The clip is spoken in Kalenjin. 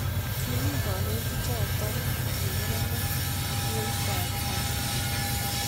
kimi kanetichoto ki murenik kituoitab Kamuthe